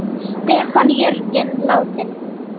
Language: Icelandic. Stefán Jörgen látinn.